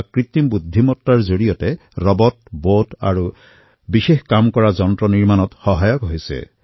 কৃত্ৰিম বুদ্ধিমতাৰ মাধ্যমত ৰবট বট আৰু বিশেষ কাৰ্য কৰা যন্ত্ৰ নিৰ্মাণত সহায়ক হয়